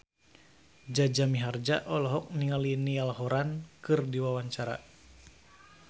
Jaja Mihardja olohok ningali Niall Horran keur diwawancara